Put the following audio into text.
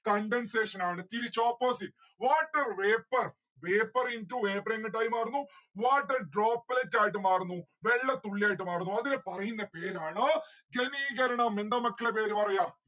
condensation ആണ്. തിരിച്ച് opposite. water vapour vapour into vapour എങ്ങട്ടായി മാറുന്നു. water droplet ആയിട്ട് മാറുന്നു വെള്ളത്തുള്ളിയായിട്ട് മാറുന്നു അതിനെ പറയുന്ന പേരാണ് ഘനീകരണം എന്താ മക്കളെ പേര് പറയാ